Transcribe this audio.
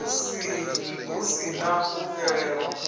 hu si na u xelelwa